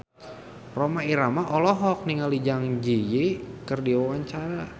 Rhoma Irama olohok ningali Zang Zi Yi keur diwawancara